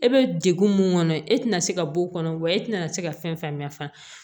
E bɛ degun mun kɔnɔ e tɛna se ka b'o kɔnɔ wa e tɛna se ka fɛn fɛn mɛn fana